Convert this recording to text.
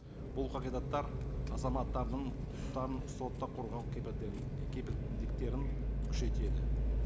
бұл қағидаттар азаматтардың құқықтарын сотта қорғау кепілдіктерін күшейтеді